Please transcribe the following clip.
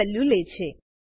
value લે છે